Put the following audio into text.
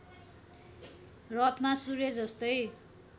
रथमा सूर्य जस्तै